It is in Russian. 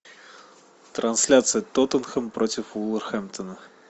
трансляция тоттенхэм против вулверхэмптона